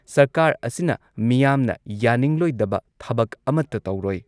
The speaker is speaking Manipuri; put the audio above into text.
ꯁꯔꯀꯥꯔ ꯑꯁꯤꯅ ꯃꯤꯌꯥꯝꯅ ꯌꯥꯅꯤꯡꯂꯣꯏꯗꯕ ꯊꯕꯛ ꯑꯃꯠꯇ ꯇꯧꯔꯣꯏ ꯫